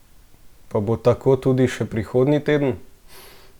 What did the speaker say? Pa bo tako tudi še prihodnji teden?